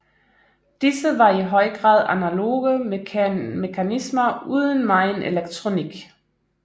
Disse var i høj grad analoge mekanismer uden megen elektronik